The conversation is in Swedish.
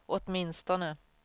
åtminstone